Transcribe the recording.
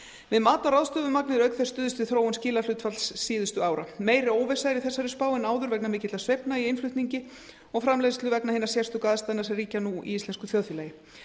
við mat á ráðstöfuðu magni er auk þess stuðst við þróun skilahlutfalls síðustu ára meiri óvissa er í þessari spá en áður vegna mikilla sveiflna í innflutningi og framleiðslu vegna hinna sérstöku aðstæðna sem ríkja nú í íslensku þjóðfélagi